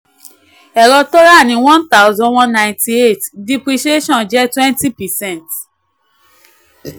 ẹ̀rọ tó ra ní one thousand one ninety-eight depreciation jẹ́ twenty percent.